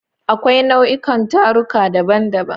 Akwai nau'ikan taruka daban-daban.